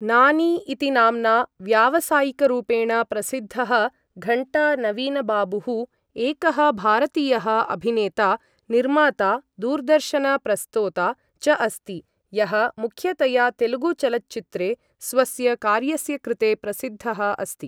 नानी इति नाम्ना व्यावसायिकरूपेण प्रसिद्धः घण्टा नवीनबाबुः, एकः भारतीयः अभिनेता, निर्माता, दूरदर्शन प्रस्तोता च अस्ति, यः मुख्यतया तेलुगु चलच्चित्रे स्वस्य कार्यस्य कृते प्रसिद्धः अस्ति।